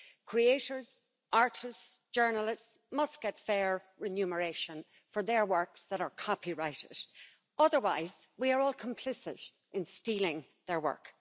Creators, artists, journalists must get fair remuneration for their works that are copyrighted, otherwise we are all complicit in stealing their work.